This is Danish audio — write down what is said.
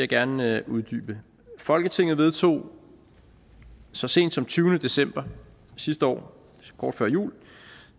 gerne uddybe folketinget vedtog så sent som tyvende december sidste år kort før jul